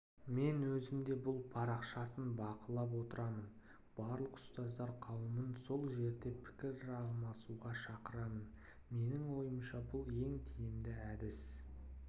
мен өзім де бұл парақшасын бақылап отырамын барлық ұстаздар қауымын сол жерде пікір алмасуға шақырамын менің ойымша бұл ең тиімді әдіс